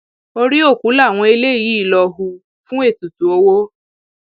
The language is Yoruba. orí òkú làwọn eléyìí lọọ hù fún ètùtù owó